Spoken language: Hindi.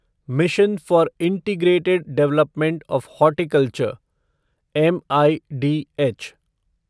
mission for integrated development of horticulture MIDH